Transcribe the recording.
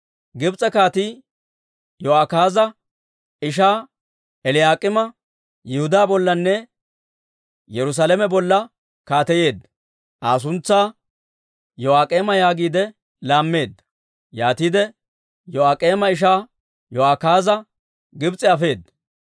Gibs'e kaatii Yo'akaaza ishaa Eliyaak'iima Yihudaa bollanne Yerusaalame bolla kaateyeedda; Aa suntsaa Yo'aak'eema yaagiide laammeedda. Yaatiide Yo'aak'eema ishaa Yo'akaaza Gibs'e afeedda.